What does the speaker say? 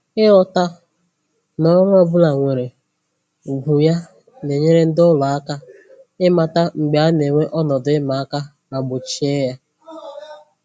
Ịghọta na ọrụ ọbụla nwere ugwu ya na-enyere ndị ụlọ aka ịmata mgbe a na-enwe ọnọdụ ịma aka ma gbochie ya